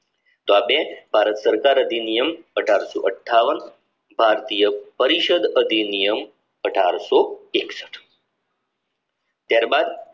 તો આ બે ભારત સરકાર અધિનિયમ અઢારસો અઠ્ઠાવન ભારતીય પરિષદ અધિનિયમ અઢારશો એકસઠ ત્યાર બાદ